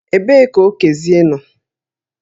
Ebee ka Okezie nọ?